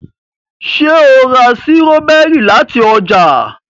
ṣe o rà Sírọ́bẹ́rì láti oja?